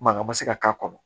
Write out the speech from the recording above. Mankan ma se ka k'a kɔnɔ